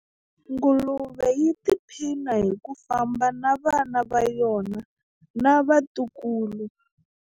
Nguluve yi tiphina hi ku famba na vana va yona na vatukulu.